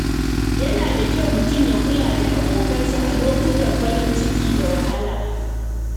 Yana da kyau mutum ya kula da abokansa a lokutan farin ciki da wahala.